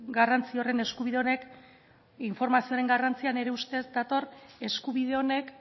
garrantzi horren eskubide honek informazioaren garrantzia nire ustez dator eskubide honek